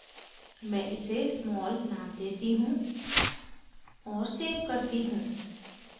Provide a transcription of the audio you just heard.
मैं इसे small name देती हूँ और सेव करती हूँ